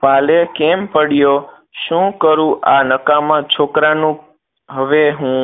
કાલે કેમ પડ્યો શું કરું આ નકામાં છોકરાનું હવે હું